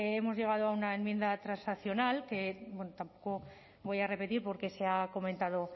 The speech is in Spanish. hemos llegado a una enmienda transaccional que tampoco voy a repetir porque se ha comentado